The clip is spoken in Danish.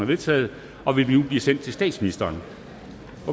vedtaget og vil nu blive sendt til statsministeren